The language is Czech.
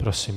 Prosím.